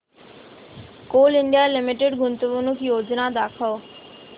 Coal India Limited गुंतवणूक योजना दाखव